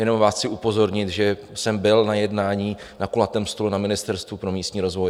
Jenom vás chci upozornit, že jsem byl na jednání na kulatém stolu na Ministerstvu pro místní rozvoj.